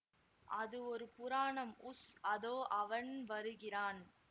அது ஒரு புராணம் உஸ் அதோ அவன் வருகிறான்